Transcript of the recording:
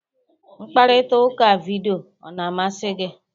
Mkparịta ụka vidiyo ọ na-amasị gị?